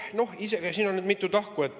No siin on nüüd mitu tahku.